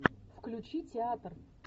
включи театр